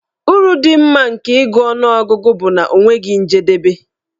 Uru dị mma nke ịgụ ọnụọgụgụ bụ na ọ nweghị njedebe.